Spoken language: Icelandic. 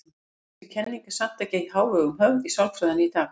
Þessi kenning er samt ekki í hávegum höfð í sálfræðinni í dag.